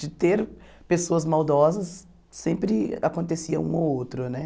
De ter pessoas maldosas, sempre acontecia um ou outro, né?